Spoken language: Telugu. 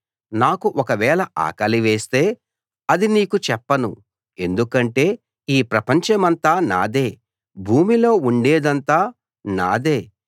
నాకు ఒకవేళ ఆకలివేస్తే అది నీకు చెప్పను ఎందుకంటే ఈ ప్రపంచమంతా నాదే భూమిలో ఉండేదంతా నాదే